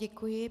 Děkuji.